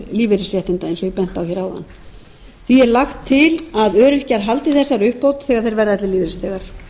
lífeyrisréttinda eins og ég benti á hér áðan því er lagt til að öryrkjar haldi þessari uppbót þegar þeir verða ellilífeyrisþegar